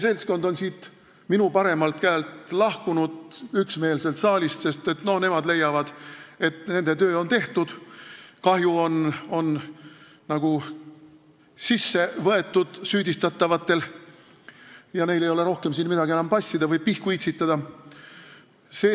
Seltskond minu paremalt käelt on siit saalist üksmeelselt lahkunud, sest nemad leiavad, et nende töö on tehtud – kahju on süüdistatavatele tekitatud ja neil ei ole siin rohkem vaja enam passida või pihku itsitada.